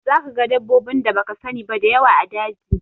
Za ka ga dabbobin da baka sani ba da yawa a daji